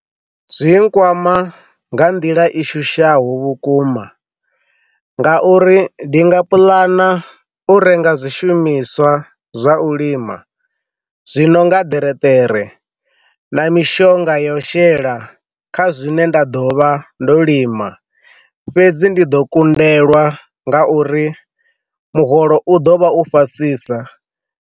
Zwi nkwama nga nḓila i shushaho vhukuma nga uri ndi nga puḽana u renga zwishumiswa zwa u lima zwino nga ḓereṱere na mishonga yo shela kha zwine nda ḓo vha ndo lima fhedzi ndi ḓo kundelwa nga uri muholo u ḓo vha u fhasisa.